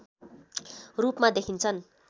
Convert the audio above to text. रूपमा देखिन्छन्